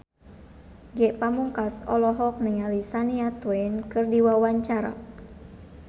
Ge Pamungkas olohok ningali Shania Twain keur diwawancara